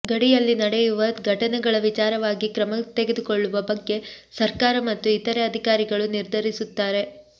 ಗಡಿಯಲ್ಲಿ ನಡೆಯುವ ಘಟನೆಗಳ ವಿಚಾರವಾಗಿ ಕ್ರಮ ತೆಗೆದುಕೊಳ್ಳುವ ಬಗ್ಗೆ ಸರ್ಕಾರ ಮತ್ತು ಇತರೆ ಅಧಿಕಾರಿಗಳು ನಿರ್ಧರಿಸುತ್ತಾರೆ